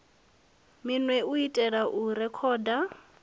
minwe u itela u rekhoda